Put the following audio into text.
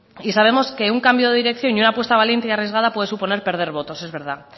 y sabemos que un cambio de dirección y una apuesta valiente y arriesgada puede suponer perder votos es verdad